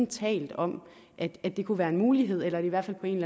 talt om at at det kunne være en mulighed eller i hvert fald på en